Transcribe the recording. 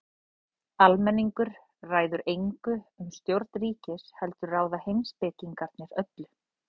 Almenningur ræður engu um stjórn ríkisins heldur ráða heimspekingarnir öllu.